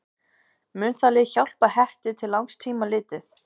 Mun það lið hjálpa Hetti til langs tíma litið?